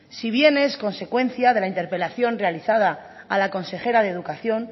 si bien es consecuencia de la interpelación realizada a la consejera de educación